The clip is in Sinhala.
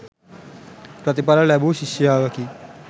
ප්‍රතිඵල ලැබූ ශිෂ්‍යාවකි.